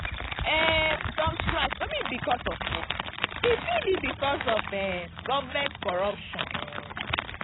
um some strike no be because of work e fit be because of um government corruption um